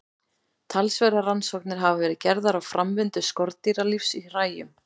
Talsverðar rannsóknir hafa verið gerðar á framvindu skordýralífs í hræjum.